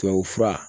Tubabufura